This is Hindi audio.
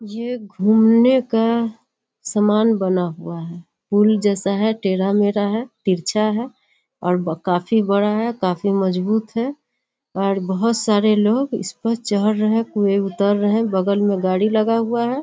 ये घूमने का सामान बना हुआ हैपूल जैसा हैटेढ़ा-मेढ़ा हैतिरछा है और व काफी बड़ा हैकाफी मजबूत है और बहोत सारे लोग इस पर चढ़ रहे हैं कोई उतर रहे हैंबगल में गाड़ी लगा हुआ है।